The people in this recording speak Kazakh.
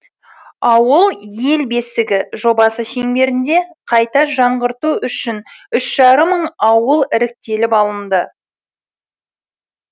ауыл ел бесігі жобасы шеңберінде қайта жаңғырту үшін үш жарым мың ауыл іріктеліп алынды